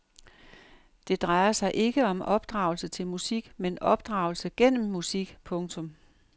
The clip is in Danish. Det drejer sig ikke om opdragelse til musik men opdragelse gennem musik. punktum